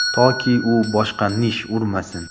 Toki u boshqa nish urmasin!